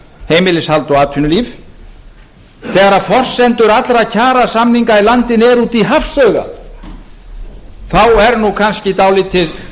heimilishald og atvinnulíf þegar forsendur allra kjarasamninga í landinu eru úti í hafsauga þá er kannski dálítið